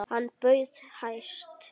Hann bauð hæst.